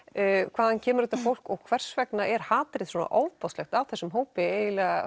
hvaðan kemur þetta fólk og hvers vegna er hatrið svona ofboðslegt á þessum hópi eiginlega